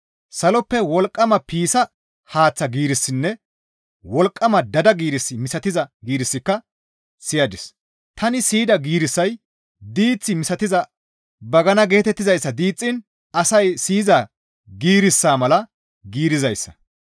Saloppe wolqqama piissa haaththa giirissinne wolqqama daada giiris misatiza giirissika siyadis; tani siyida giirissay diith misatiza bagana geetettizayssa diixxiin asay siyiza giirissa mala giirizayssa.